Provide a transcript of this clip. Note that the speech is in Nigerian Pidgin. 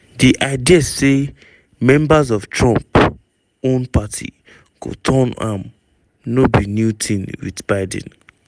di idea say members of trump own party go turn on am no be new tin wit biden.